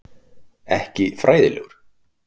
Ekki fræðilegur.